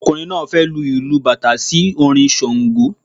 Ọkùnrin náà fẹ lu ìlù bàtá sí orin ṣàngó